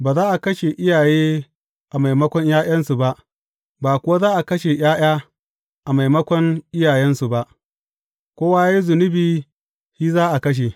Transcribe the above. Ba za a kashe iyaye a maimakon ’ya’yansu ba, ba kuwa za a kashe ’ya’ya a maimakon iyayensu ba; kowa ya yi zunubi, shi za a kashe.